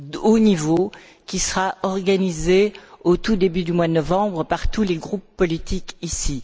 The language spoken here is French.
haut niveau qui sera organisé, au tout début du mois de novembre, par tous les groupes politiques ici.